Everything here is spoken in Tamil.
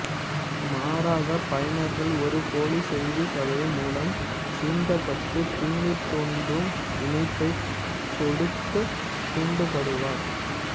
மாறாக பயனர்கள் ஒரு போலி செய்திக் கதை மூலம் சீண்டப்பட்டு தீங்கு தொற்றும் இணைப்பைச் சொடுக்கத் தூண்டப்படுவர்